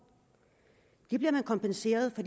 de afgifter bliver man kompenseret for